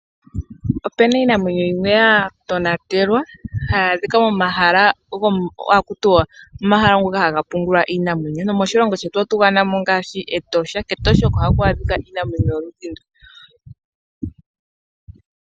Opena iinamwenyo yimwe ya tonatelwa hayi adhika momahala ngoka haga pungulwa iinamwenyo nomoshilongo shetu otu ganamo ngaashi Etosha. kEtosha oko haku adhika iinamwenyo yoludhi ndu.